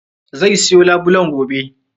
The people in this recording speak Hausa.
Zai siyo labulen gobe.